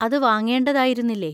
അതു വാങ്ങേണ്ടതായിരുന്നില്ലേ?